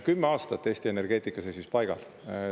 Kümme aastat Eesti energeetika seisis paigal.